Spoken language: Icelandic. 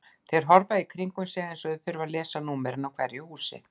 Þeir horfa í kringum sig eins og þeir þurfi að lesa númerin á hverju húsi.